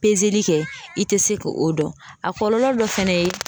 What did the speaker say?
kɛ i te se k'o dɔn . A kɔlɔlɔ dɔ fana ye.